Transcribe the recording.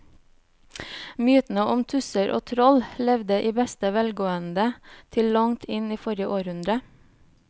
Mytene om tusser og troll levde i beste velgående til langt inn i forrige århundre.